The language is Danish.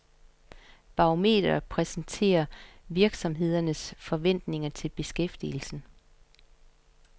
Barometeret præsenterer virksomhedernes forventninger til beskæftigelsen.